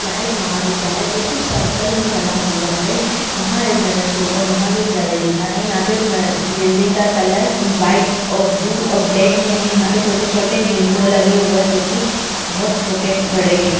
यहाँ एक महाविद्यालय जो की सर्किल में बना हुआ है यहाँ एक बैनर के ऊपर महाविद्यालय लिखा है यहाँ पे बिल्डिंग का कलर वाइट और ब्लू और ब्लैक है यहाँ पे छोटे-छोटे विंडो लगे हुए है जो की बहुत छोटे-बड़े है।